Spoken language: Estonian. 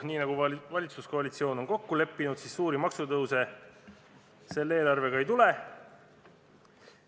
Nii nagu valitsuskoalitsioon on kokku leppinud, siis suuri maksutõuse selle eelarvega ei tule.